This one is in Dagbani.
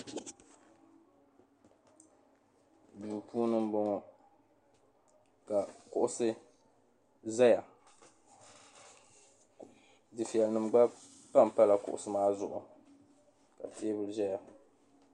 Duu puuni m-bɔŋɔ ka kuɣisi zaya dufiɛya gba pampala kuɣisi maa zuɣu ka teebuli zaya.